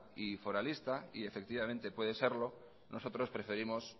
y foralista y efectivamente puede serlo nosotros preferimos